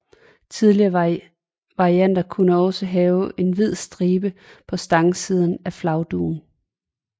Tidlige varianter kunne også have en hvid stribe ved stangsiden af flagdugen